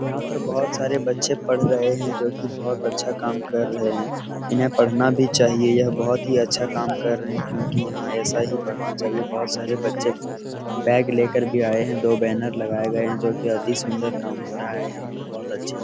यहां पर बहुत सारे बच्चे पढ़ रहे हैं जो की बहुत अच्छा काम कर रहे हैं इन्हें पढ़ना भी चाहिए यह बहुत अच्छा काम कर रहे है क्योंकि यहां ऐसा ही पढ़ना चाहिए बहुत सारे बच्चे बैग लेकर भी आए हैं दो बैनर लगाए गए हैं जो की अति सुंदर काम हो रहा है यहां पर बहुत अच्छे हैं।